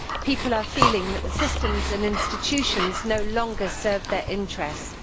People are feeling that the systems and institutions no longer serve their interests.